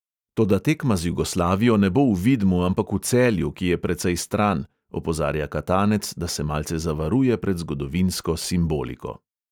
"Toda tekma z jugoslavijo ne bo v vidmu, ampak v celju, ki je precej stran," opozarja katanec, da se malce zavaruje pred zgodovinsko "simboliko".